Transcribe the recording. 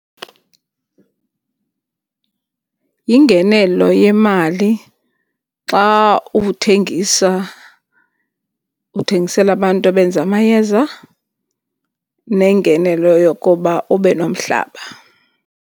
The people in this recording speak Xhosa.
Yingenelo yemali xa uthengisa uthengisela abantu abenza amayeza nengenelo yokuba ube nomhlaba.